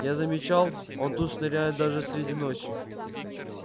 я замечал он тут шныряет даже среди ночи